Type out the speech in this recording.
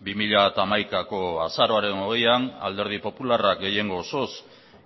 bi mila hamaikako azaroaren hogeian alderdi popularrak gehiengo osoz